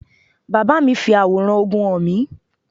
My father showed me the picture of war